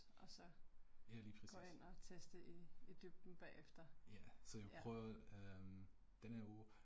Ja lige præcis. Ja, så jeg prøver den her uge